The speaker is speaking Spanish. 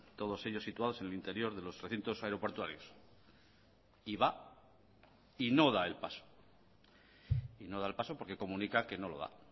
todos ellos situados en el interior de los recintos aeroportuarios y va y no da el paso y no da el paso porque comunica que no lo da